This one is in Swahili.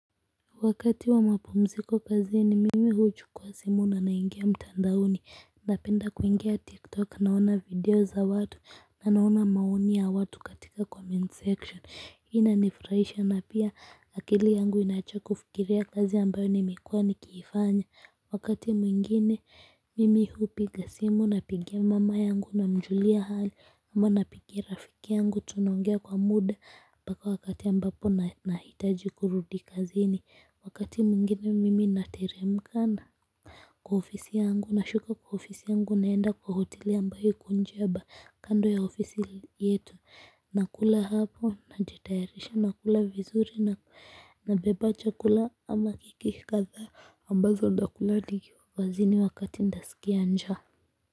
Wakati wa mapumziko kazini mimi huchukua simu na naingia mtandaoni napenda kuingia tik tok naona video za watu na naona maoni ya watu katika comment section hii inanifurahisha na pia akili yangu inaacha kufikiria kazi ambayo nimekuwa nikiifanya. Wakati mwingine mimi hupiga simu napigia mama yangu namjulia hali ama napigia rafiki yangu tunaongea kwa muda mpaka wakati ambapo nahitaji kurudi kazini wakati mwingine mimi nateremka kwa ofisi yangu. Nashuka kwa ofisi yangu naenda kwa hoteli ambayo iko nje kando ya ofisi yetu nakula hapo najitayarisha nakula vizuri nabeba chakula ama keki kadhaa ambazo nitakula nikiwa kazini wakati nitasikia njaa.